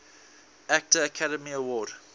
actor academy award